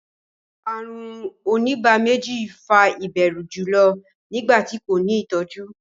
àrùn onígbáméjì fà ìbẹrù julọ nigbati ko ni itọju.